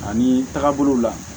Ani tagabolo la